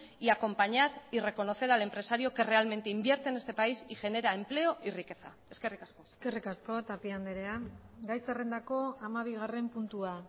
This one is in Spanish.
y acompañar y reconocer al empresario que realmente invierte en este país y genera empleo y riqueza eskerrik asko eskerrik asko tapia andrea gai zerrendako hamabigarren puntua